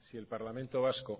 si el parlamento vasco